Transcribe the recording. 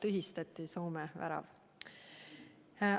Väidetavalt Soome värav tühistati.